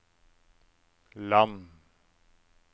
land